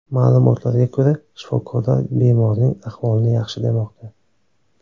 Ma’lumotlarga ko‘ra, shifokorlar bemorning ahvolini yaxshi demoqda.